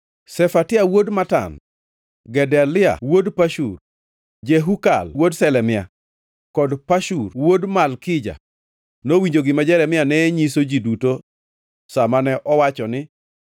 Shefatia wuod Matan, Gedalia wuod Pashur, Jehukal wuod Shelemia, kod Pashur wuod Malkija nowinjo gima Jeremia ne nyiso ji duto sa mane owacho ni,